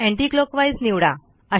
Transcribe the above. anti clockwise निवडा